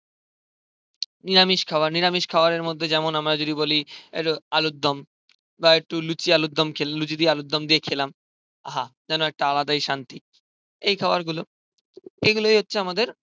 নিরামিষ খাবার নিরামিষ খাবারের মধ্যে যেমন আমরা যদি বলি একটু আলুর দম. বা একটু লুচি আলুর দম খেলো. লুচি দিয়ে আলুর দম দিয়ে খেলাম. আহা. যেন একটা আলাদাই শান্তি এই খাবারগুলো. এইগুলোই হচ্ছে আমাদের